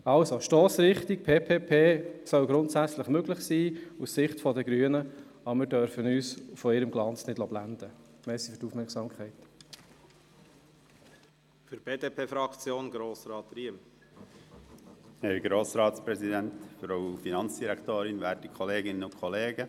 Zur Stossrichtung: PPP-Projekte sollen aus Sicht der Grünen grundsätzlich möglich sein, wir dürfen uns von deren Glanz aber nicht blenden lassen.